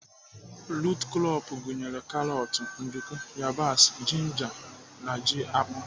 Rut krọp gụnyere karọt, nduku, yabasị, jinja na ji akpụ.